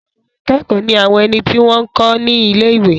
Àwọn akẹ́kọ̀ọ́ ní àwọn ẹni tí wọ́n n kọ́ ní ilé-ìwé